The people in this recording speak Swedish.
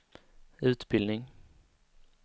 utbildning